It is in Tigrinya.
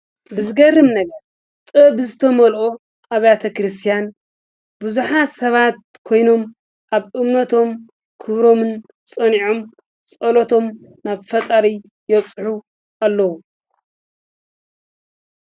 ብዝገርም ነገር ጥብ ዝተመልኦ ኣብያተ ክርስቲያን ብዙኃ ሰባት ኮይኖም ኣብ እምነቶም ክብሮምን ጸኒዖም ጸሎቶም ናብ ፈጣሪ የጽሑ ኣለዉ።